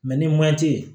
ni man te ye